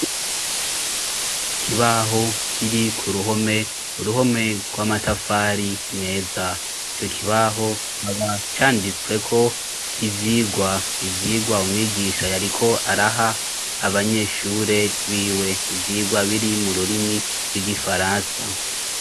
Ikibaho kiri ku ruhome uruhome rw'amatafari meza cyo kibaho haba canditswe ko ivyigwa ivyigwa umwigisha yariko araha abanyeshure b'iwe ivyigwa biri mu rurimi rw'igifaransa.